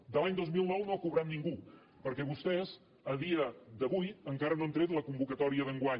de l’any dos mil nou no ha cobrat ningú perquè vostès a dia d’avui encara no han tret la convocatòria d’enguany